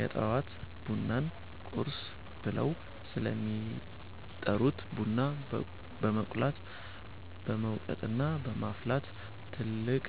የጠዋት ቡናን 'ቁርስ' ብለው ስለሚጠሩት ቡና በመቁላት፣ በመውቀጥና በማፍላት ትልቅ